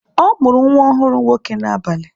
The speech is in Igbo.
Ọ mụrụ nwa ọhụrụ nwoke n'abalị.